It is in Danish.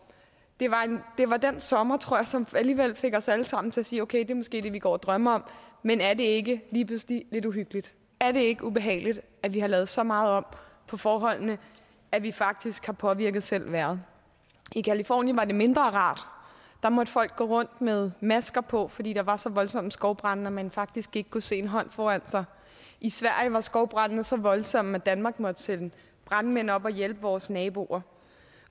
det var den sommer tror jeg som alligevel fik os alle sammen til at sige det er måske det vi går og drømmer om men er det ikke lige pludselig lidt uhyggeligt er det ikke ubehageligt at vi har lavet så meget om på forholdene at vi faktisk har påvirket selv vejret i californien var det mindre rart der måtte folk gå rundt med masker på fordi der var så voldsomme skovbrande at man faktisk ikke kunne se en hånd for sig i sverige var skovbrandene så voldsomme at danmark måtte sende brandmænd op og hjælpe vores naboer